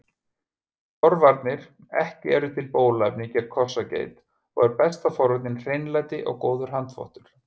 Forvarnir Ekki er til bóluefni gegn kossageit og er besta forvörnin hreinlæti og góður handþvottur.